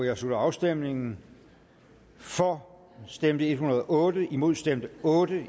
jeg slutter afstemningen for stemte en hundrede og otte imod stemte otte